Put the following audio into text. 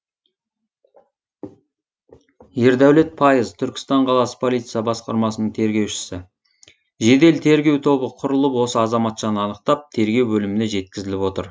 ердәулет пайыз түркістан қаласы полиция басқармасының тергеушісі жедел тергеу тобы құрылып осы азаматшаны анықтап тергеу бөліміне жеткізіліп отыр